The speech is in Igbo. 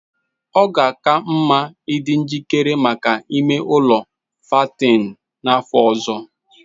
Ọ ka mma ịdị njikere maka ime ụlọ fattening n'afọ ọzọ